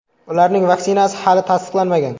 Ularning vaksinasi hali tasdiqlanmagan.